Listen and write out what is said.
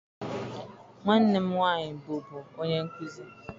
Nwanne m nwaanyị bụbu onye nkuzi.